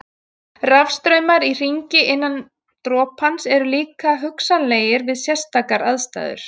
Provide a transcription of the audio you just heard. Rafstraumar í hringi innan dropans eru líka hugsanlegir við sérstakar aðstæður.